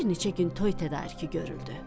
Bir neçə gün toy tədarükü görüldü.